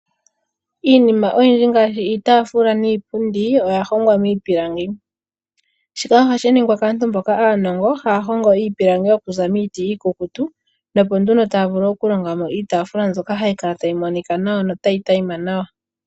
Iinima oyindji ngaashi iitafula niipundi oya hongwa miipilangi, shika ohashi ningwa kaantu mboka aanongo haya hongo iipilangi okuza miiti iikukutu na opo nduno taya vulu okulonga mo iitafula mbyoka hayi kala tayi monika nawa yo tayi tayima nawa.